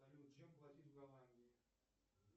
салют чем платить в голландии